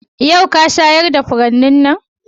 Yau ka shayar da furannin nan?